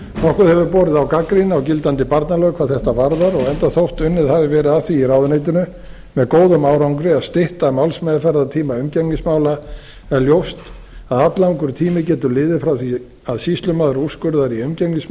nokkuð hefur borið á gagnrýni á gildandi barnalög hvað þetta varðar og enda þótt unnið hafi verið að því í ráðuneytinu með góðum árangri að stytta málsmeðferðartíma umgengnismála er ljóst að alllangur tími getur liðið frá því að sýslumaður úrskurðar í